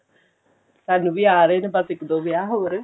ਸਾਨੂੰ ਵੀ ਆ ਰਹੇ ਨੇ ਬੱਸ ਇਕ ਦੋ ਵਿਆਹ